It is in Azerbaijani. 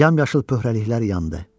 Yamyasıl pöhərəliliklər yandı.